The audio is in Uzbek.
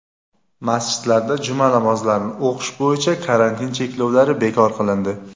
Masjidlarda juma namozlarini o‘qish bo‘yicha karantin cheklovlari bekor qilindi.